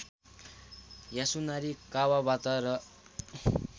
Yasunari Kawabata र